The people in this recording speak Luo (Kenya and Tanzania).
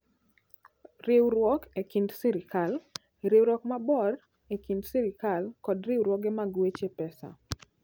Riwruok e Kind Sirkal: Riwruok maber e kind sirkal kod riwruoge mag weche pesa.